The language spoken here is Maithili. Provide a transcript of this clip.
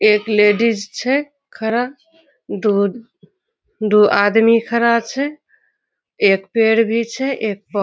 एक लेडीज छे खड़ा। दो दो आदमी खड़ा छे एक पेड़ भी छे एक पौ --